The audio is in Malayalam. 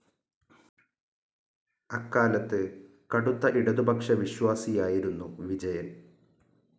അക്കാലത്ത് കടുത്ത ഇടതുപക്ഷവിശ്വാസിയായിരുന്നു വിജയൻ.